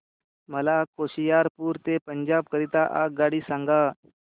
मला होशियारपुर ते पंजाब करीता आगगाडी सांगा